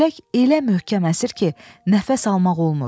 Külək elə möhkəm əsir ki, nəfəs almaq olmur.